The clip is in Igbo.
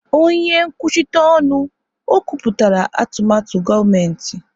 Onye nkwuchite ọnụ, o kwupụtara atụmatụ gọọmentị.